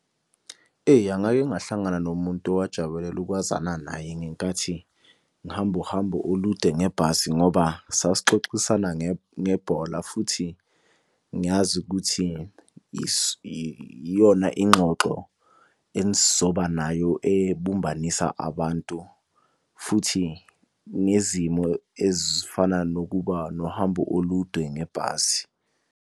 Eya ngake ngahlangana nomuntu owajabulela ukwazana naye ngenkathi ngihamba uhambo olude ngebhasi ngoba saxoxisana ngebhola futhi ngiyazi ukuthi iyona ingxoxo enizoba nayo ebumbanisa abantu. Futhi ngezimo ezifana nokuba nohambo olude ngebhasi.